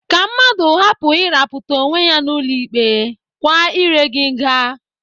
Ka mmadụ hapụ ịrapụta onwe ya n'ụlọ ikpe, kwa iré gị nga.